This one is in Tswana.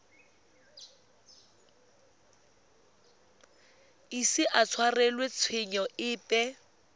ise a tshwarelwe tshenyo epe